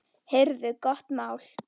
Heyrðu gott mál.